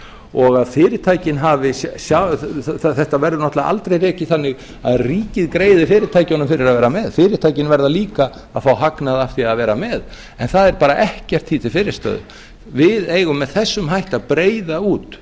og að fyrirtækin hafi þetta verður náttúrlega aldrei rekið þannig að ríkið greiði fyrirtækjunum fyrir að vera með fyrirtækin verða líka að fá hagnað af því að vera með en það er bara ekkert því til fyrirstöðu við eigum með þessum hætti að breiða út